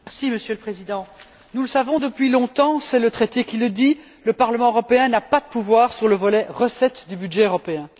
Monsieur le Président, nous le savons depuis longtemps c'est le traité qui le dit le Parlement européen n'a pas de pouvoir sur le volet recettes du budget européen.